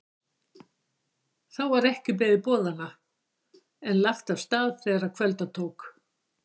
Þá var ekki beðið boðanna en lagt af stað þegar kvölda tók.